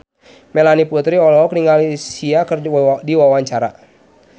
Melanie Putri olohok ningali Sia keur diwawancara